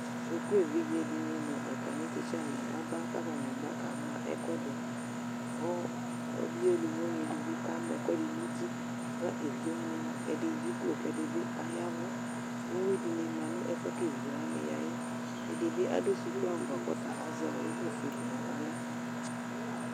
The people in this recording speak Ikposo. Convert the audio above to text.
sukuvi dɩnɩ nʊ atamɩ ɛsɛwanɩ aba kʊ akama ɛkʊɛdɩ, kʊ evidze uluvi edigbo ka ma ɛkʊɛdɩ nʊ uti, kʊ evizewanɩ ɛdɩnɩ ama adʊkʊ nuti, kʊ ɛdɩnɩ ta yaɛvʊ, uwinɩ ma nʊ ɛfʊ yɛ kʊ evidzewanɩ ya yɛ, ɛdɩbɩ adʊ suku awu bʊa azɛ ɛkʊ fue dɩ naɣla